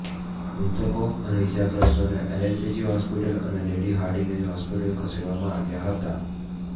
મૃતકો અને ઈજાગ્રસ્તોને LNJP hospital અને લેડી હાર્ડિનેજ હોસ્પિટલ ખસેડવામાં આવ્યા હતા